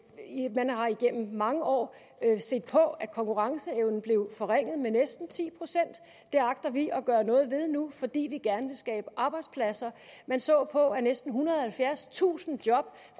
man har igennem mange år set på at konkurrenceevnen blev forringet med næsten ti procent det agter vi at gøre noget ved nu fordi vi gerne vil skabe arbejdspladser man så på at næsten ethundrede og halvfjerdstusind job